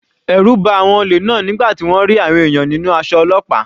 Ẹ̀rù ba àwọn olè náà nígbà tí wọ́n rí àwọn ènìyàn nínú aṣọ ọlọ́pàá.